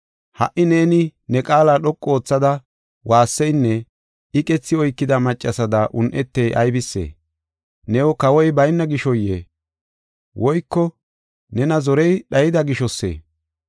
Ha77i neeni ne qaala dhoqu oothada waasseynne iqethi oykida maccasada un7etey aybisee? New kawoy bayna gishoyee? Woyko nena zoriya dhayida gishosee?